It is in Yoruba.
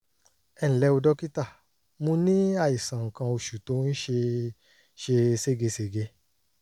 ẹ ǹlẹ́ o dókítà mo ní àìsàn nǹkan oṣù tó ń ṣe ṣe ségesège